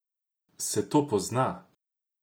Se to pozna?